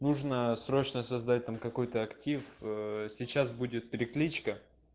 нужно срочно создать там какой-то актив ээ сейчас будет перекличка